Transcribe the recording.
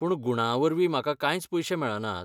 पूण गुणांवरवीं म्हाका कांयच पयशे मेळनात.